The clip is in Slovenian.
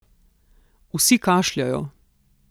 Vsi kašljajo.